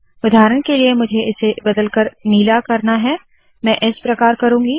उदाहरण के लिए मुझे इसे बदल कर नीला करना है मैं इस प्रकार करुँगी